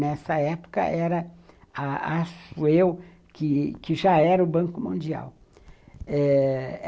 Nessa época era a a acho eu, que já era o Banco Mundial.